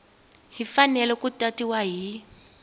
yi fanele ku tatiwa hi